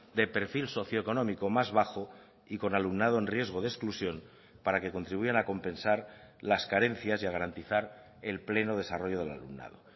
de perfil socio económico más bajo y con alumnado en riesgo de exclusión para que contribuyan a compensar las carencias y a garantizar el pleno desarrollo del alumnado